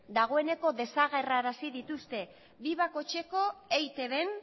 dagoeneko desagerrarazi dituzte bi bakoitzeko eitbn